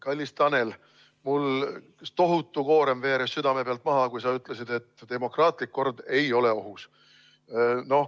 Kallis Tanel, mul tohutu koorem veeres südame pealt maha, kui sa ütlesid, et demokraatlik kord ei ole ohus.